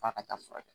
F'a ka taa furakɛ